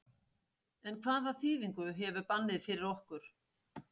En hvaða þýðingu hefur bannið fyrir okkur?